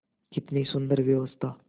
कितनी सुंदर व्यवस्था